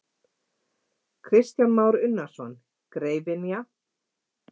Kristján Már Unnarsson: Greifynja?